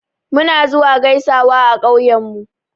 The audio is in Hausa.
Muna zuwa gaisawa a ƙauyen mu.